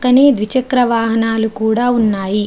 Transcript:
క్కనే ద్విచక్ర వాహనాలు కూడా ఉన్నాయి.